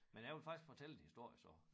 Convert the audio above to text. Men jeg vil faktisk fortælle en historie så